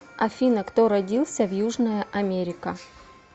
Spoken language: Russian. афина кто родился в южная америка